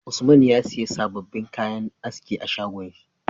Usman ya siya sababin kayan aski a shagon shi